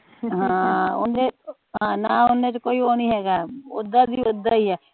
ਹਮ ਨਾ ਉਨ ਦੇ ਨਾ ਕੋਈ ਉਹ ਨੀ ਹੇਗਾ